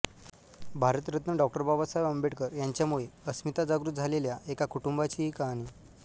Bharat Ratna Dr Babasaheb Ambedkar यांच्यामुळे अस्मिता जागृत झालेल्या एका कुटुंबाची ही कहाणी